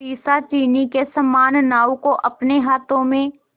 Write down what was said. पिशाचिनी के समान नाव को अपने हाथों में